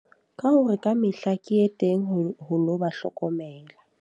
Ka hore ka mehla ke ye teng ho lo ba hlokomela.